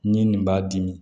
Ni nin b'a dimi